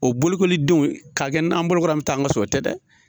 O bolokoli denw ka kɛ n'an bolo ko la an bi taa an ka so, o tɛ dɛ.